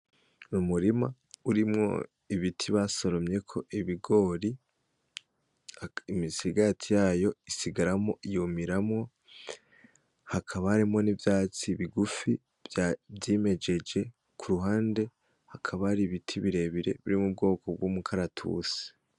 Umurima urimwo ibiti basoromyeko ibigori, imisigati yayo isigaramwo yumiramwo. Hakaba harimwo n'ivyatsi bigufi vyimejeje. Ku ruhande hakaba haribiti birebire biri mu bwoko bw'umukaratusi.